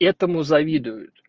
этому завидуют